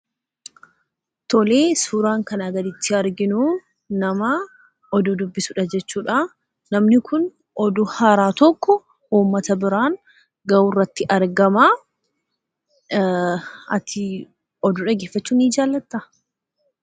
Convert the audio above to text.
Tolee, suuraan kanaa gaditti arginuu namaa oduu dubbisudha jechuudhaa. Namni kun oduu haaraa tokko uummata biraan ga'uurratti argamaa. Atii oduu dhaggeeffachuu ni jaallataa?